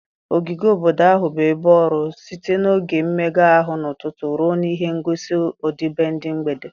ogige obodo ahụ bụ ebe ọrụ, site n 'oge mmega ahụ n' ụtụtụ ruo n 'ihe ngosi ọdịbendị mgbede.